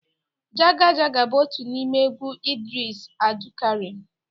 Jaga Jaga bụ otu n'ime egwu Idris Abdulkarim